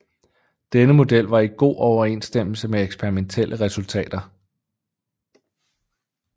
Denne model var i god overensstemmelse med eksperimentelle resultater